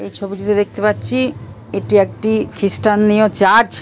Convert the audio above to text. এই ছবিটা দেখতে পাচ্ছি এটি একটি খ্রিস্টানীয় চার্চ ।